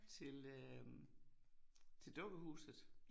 Til øh til dukkehuset